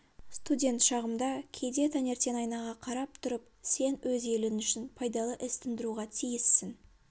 студент шағымда кейде таңертең айнаға қарап тұрып сен өз елің үшін пайдалы іс тындыруға тиіссің